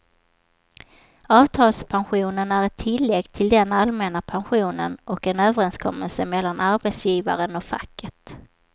Avtalspensionen är ett tillägg till den allmänna pensionen och en överenskommelse mellan arbetsgivaren och facket.